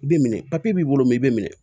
I bɛ minɛ b'i bolo i bɛ minɛ